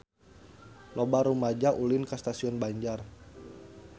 Loba rumaja ulin ka Stasiun Banjar